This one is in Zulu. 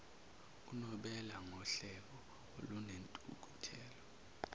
unobela ngohleko olunentukuthelo